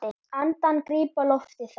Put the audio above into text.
Andann gríp á lofti þá.